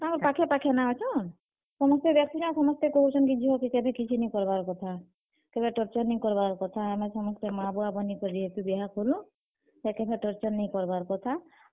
ତାଙ୍କର୍ ପାଖେ-ପାଖେ ନାଁ ହେଟା, ସମସ୍ତେ ସମସ୍ତେ କହୁଛନ୍ କି ଝିଅ କେ କେଭେ କିଛି ନିଁ କର୍ ବାର୍ କଥା କେଭେ torture ନିଁ କରବାର୍ କଥା ଆମେ ସମସ୍ତେ ମାଁ-ବୁଆ ବନି କରି ବିହା କଲୁଁ, ସେ କେଭେ torture ନି କରବାର୍ କଥା।